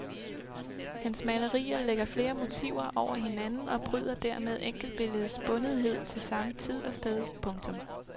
Hans malerier lægger flere motiver over hinanden og bryder dermed enkeltbilledets bundethed til samme tid og sted. punktum